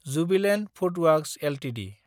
Jubilant FoodWorks Ltd